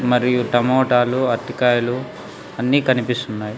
మరియు టమోటాలు అరటికాయలు అన్నీ కనిపిస్తున్నాయి.